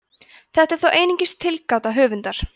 þetta er þó einungis tilgáta höfundar